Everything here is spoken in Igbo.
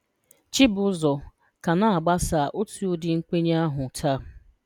Chibuzor ka na-agbasa otu ụdị nkwenye ahụ taa.